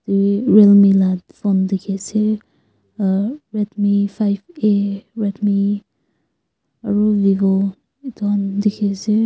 real mi la phone dikhiase red mi five a aro vivo edu han dikhiase.